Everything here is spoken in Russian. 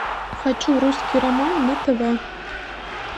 хочу русский роман на тв